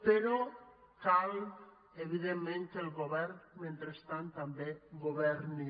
però cal evidentment que el govern mentrestant també governi